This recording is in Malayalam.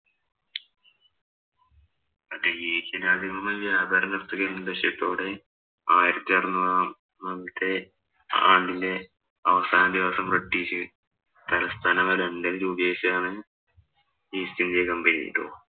മറ്റേ ഏഷ്യന്‍ രാജ്യങ്ങളുമായി വ്യാപാരം നടത്തുക എന്ന ലക്ഷ്യത്തോടെ ആയിരത്തി അറുനൂറാ മത്തെ ആണ്ടിലെ അവസാന ദിവസം ബ്രിട്ടീഷ് തലസ്ഥാനമായ ലണ്ടനില്‍ രൂപികരിച്ചതാണ് East India company ട്ടോ.